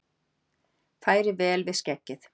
Færi vel við skeggið!